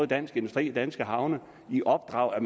dansk industri og danske havne i opdrag at